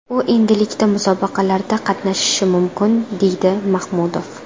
U endilikda musobaqalarda qatnashishi mumkin”, deydi Mahmudov.